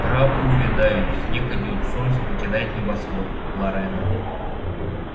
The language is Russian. травы увядают снег идёт солнце покидает небосвод лорена